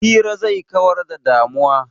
Hira zai kawar da damuwa.